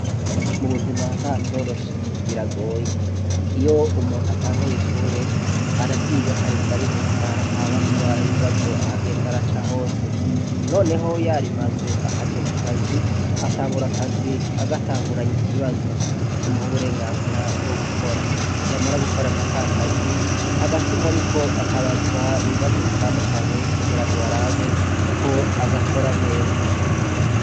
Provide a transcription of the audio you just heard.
Mubuzima ntacoroshe biragoye iyo umuntu atanguye ishure araryiga akarinda ariheza akabazwa nibibazo aho agenda araca hose noneho yarimaze akaja mukazi atangura akazi agatanguranye ikibazo kimuha uburengazira bwo gukora yamara gukora akazi hagati muriko akabazwa ibibazo bitandukanye ngo barabe ko agakora neza